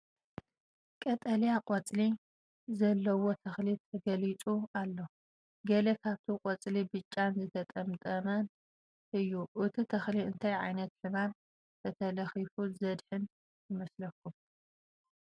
ቀጠልያ ቆጽሊ ዘለዎ ተኽሊ ተገሊጹ ኣሎ። ገለ ካብቲ ቆጽሊ ብጫን ዝተጠምጠመን እዩ። እዚ ተኽሊ እንታይ ዓይነት ሕማም ተተለኺፉ ዘድሕን ይመስለኩም?